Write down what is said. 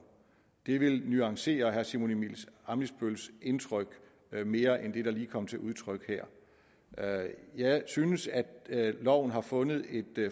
det vil nuancere herre simon emil ammitzbølls indtryk mere end det der lige kom til udtryk her jeg synes at loven har fundet et